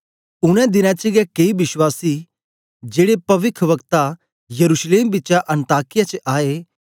उनै देनें च गै केई विश्वासी जेड़े पविखवक्ता यरूशलेम बिचा अन्ताकिया च आए